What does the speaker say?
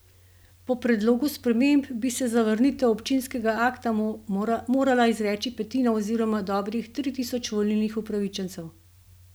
Po predlogu sprememb bi se za zavrnitev občinskega akta morala izreči petina oziroma dobrih tri tisoč volilnih upravičencev.